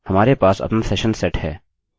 हमारे पास अपना सेशन सेट है